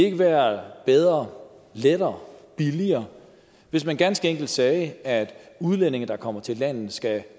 ikke være bedre lettere og billigere hvis man ganske enkelt sagde at udlændinge der kommer til landet skal